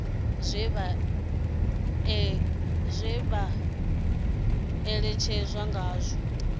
zwe vha ṋekana ngazwo zwi